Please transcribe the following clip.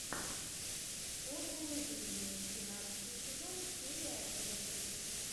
формулы жизни двенадцатый сезон серия одиннадцать